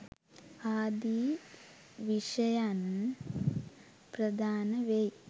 ආදී විෂයයන් ප්‍රධාන වෙයි